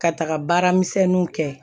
Ka taga baara misɛnninw kɛ